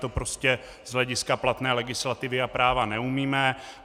To prostě z hlediska platné legislativy a práva neumíme.